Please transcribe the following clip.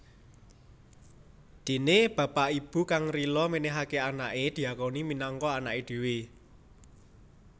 Dene bapak ibu kang rila menehake anake diakoni minangka anake dhewe